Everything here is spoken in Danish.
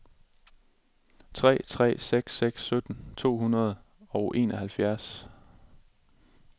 tre tre seks seks sytten to hundrede og enoghalvfjerds